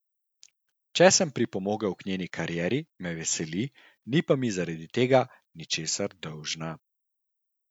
Če sem pripomogel k njeni karieri, me veseli, ni pa mi zaradi tega ničesar dolžna.